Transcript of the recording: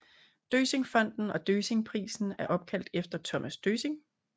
Døssingfonden og Døssingprisen er opkaldt efter Thomas Døssing